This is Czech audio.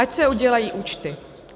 Ať se udělají účty.